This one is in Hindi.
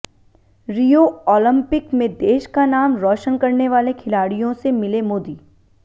रियो ओलंपिक में देश का नाम रौशन करनेवाले खिलाड़ियों से मिले मोदी